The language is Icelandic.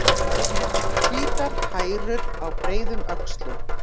Hvítar hærur á breiðum öxlum.